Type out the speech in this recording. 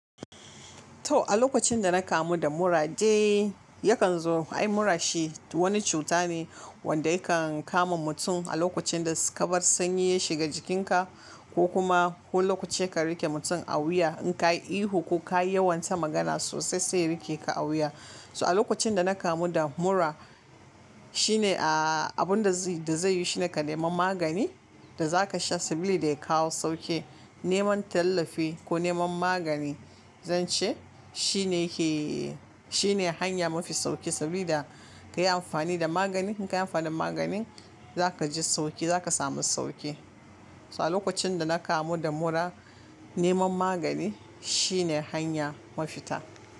To a lokacin da na kamu da mura dai yakan zo ai mura shi wani cuta ne wanda yakan kama mutum a lokacin da kamar sanyi ya shiga jikinka ko kuma lokaci ka rike mutum a wuya in ka yi ihu ko ka yi yawon ta magana sosai sai ya rike ka a wuya. So a lokacin da na kamu da mura shine a abun da zai yi shi ne ka nemi magani da za ka sha sabilida ya kawo sauki. Neman tallafi ko neman magani zan ce shine yake shine hanya mafi sauki sabida ka yi amfani da magani in ka yi amfani da magani. Zakaji sauki zaka samu sauki. So a lokacin da na kamu da mura neman magani shine hanya mafita.